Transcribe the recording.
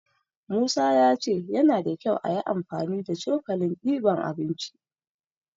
Musa ya ce yana da kyau ayi amfani da cokalin diban abinci.